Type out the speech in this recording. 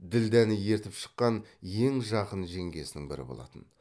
ділдәні ертіп шыққан ең жақын жеңгесінің бірі болатын